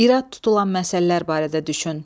İrad tutulan məsələlər barədə düşün.